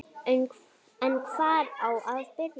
En hvar á að byrja?